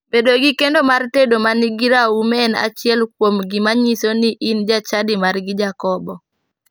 Bedo gi kendo mar tedo manigi raum en achiel kuom gima nyiso ni in jachadi margi jakobo.